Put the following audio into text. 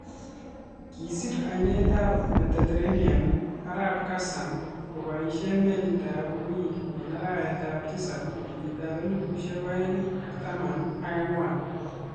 Kiisir ainetap Mediterranean arap Gassam kopaishee meliit ap uik eng arawet ap tisap kenyitap elefusiek oeng ak taman ak angwan